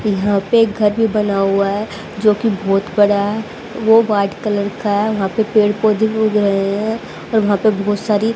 यहां पे एक घर भी बना हुआ है जो कि बहुत बड़ा है वो वाइट कलर का है वहां पे पेड़ पौधे भी उग रहे हैं और वहां पे बहुत सारी --